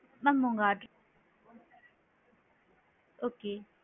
mam உங்க அட் okay